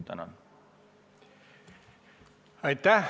Aitäh!